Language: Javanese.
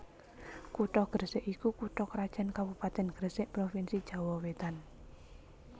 Kutha Gresik iku kutha krajan kabupatèn Gresik provinsi Jawa Wetan